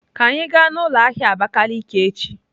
Ka anyị gaa n'ụlọ ahịa Abakiliki echi!